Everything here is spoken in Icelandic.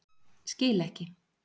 Skil ekki